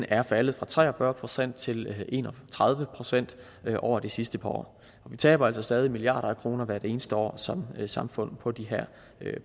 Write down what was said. er faldet fra tre og fyrre procent til en og tredive procent over det sidste par år vi taber altså stadig milliarder af kroner hvert eneste år som samfund på de her